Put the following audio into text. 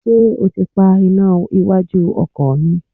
Ṣé ó ti pa iná iwájú ọkọ̀ mi?